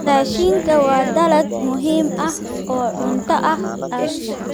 Raashinka waa dalag muhiim ah oo cunto ah Asia.